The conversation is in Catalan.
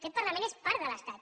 aquest parlament és part de l’estat